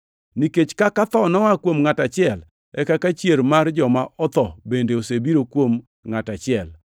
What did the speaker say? Nikech kaka tho noa kuom ngʼat achiel e kaka chier mar joma otho bende osebiro koa kuom ngʼat achiel.